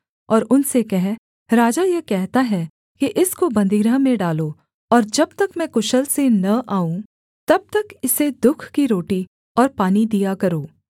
और उनसे कह राजा यह कहता है कि इसको बन्दीगृह में डालो और जब तक मैं कुशल से न आऊँ तब तक इसे दुःख की रोटी और पानी दिया करो